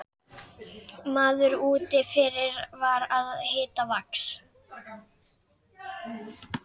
Maður úti fyrir var að hita vax.